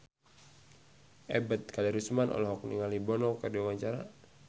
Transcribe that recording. Ebet Kadarusman olohok ningali Bono keur diwawancara